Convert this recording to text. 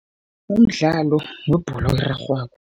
Umdlalo webholo erarhwako.